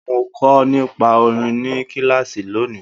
Mo kọ nípa orin ní kilaasi lóni?